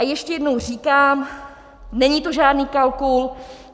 A ještě jednou říkám, není to žádný kalkul.